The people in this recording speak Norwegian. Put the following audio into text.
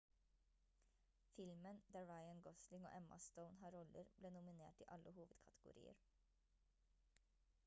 filmen der ryan gosling og emma stone har roller ble nominert i alle hovedkategorier